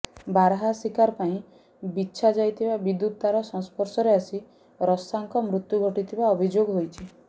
ବାରହା ଶିକାର ପାଇଁ ବିଛା ଯାଇଥିବା ବିଦ୍ୟୁତ୍ ତାର ସଂସ୍ପର୍ଶରେ ଆସି ରସାଙ୍କ ମୃତ୍ୟୁ ଘଟିଥିବା ଅଭିଯୋଗ ହୋଇଛି